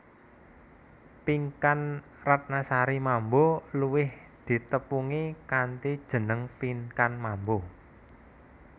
Pinkan Ratnasari Mambo luwih ditepungi kanthi jeneng Pinkan Mambo